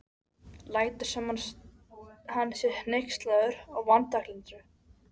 Lætur sem hann sé hneykslaður á vanþakklætinu.